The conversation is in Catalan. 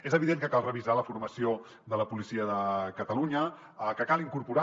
és evident que cal revisar la formació de la policia de catalunya que cal incorporar